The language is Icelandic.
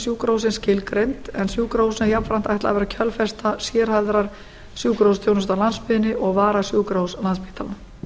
sjúkrahússins skilgreind en sjúkrahúsinu er jafnframt ætlað að vera kjölfesta sérhæfðrar sjúkrahúsþjónustu á landsbyggðinni og varasjúkrahús landspítalans